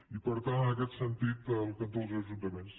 i per tant en aquest sentit al cantó dels ajuntaments